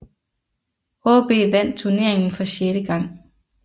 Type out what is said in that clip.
AaB vandt turneringen for sjette gang